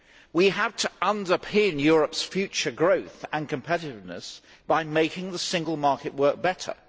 We have to underpin Europe's future growth and competitiveness by making the Single Market work better.